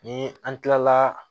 Ni an kilala